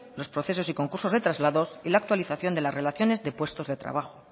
los procesos y concursos de traslados y la actualización de las relaciones de puestos de trabajo